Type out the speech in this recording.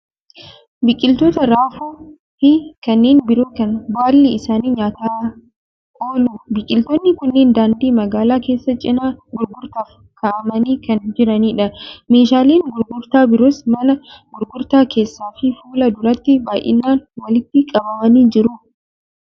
Biqiltoota raafuu fi kanneen biroo kan baalli isaanii nyaataaf oolu. Biqiltoonni kunneen daandii magaala keessaa cinaa gurgurtaaf kaa'amanii kan jiranidha. Meeshaaleen gurgurtaa biroos mana gurgurtaa keessaa fi fuula duratti baay'inaan walitti qabamanii jiru.